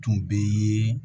Tun bɛ ye